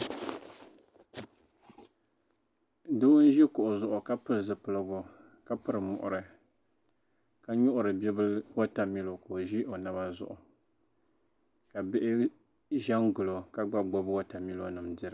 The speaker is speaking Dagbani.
Doo n-ʒi kuɣu zuɣu ka pili zupiligu ka piri muɣiri ka nyuɣuri bibila watamilo ka o ʒi o naba zuɣu ka bihi ʒi n-gili o ka gba gbubi watamilonima dira